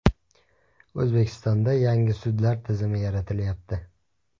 O‘zbekistonda yangi sudlar tizimi yaratilyapti.